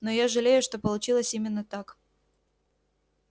но я жалею что получилось именно так